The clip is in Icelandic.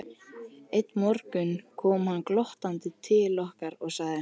Einn morgun kom hann glottandi til okkar og sagði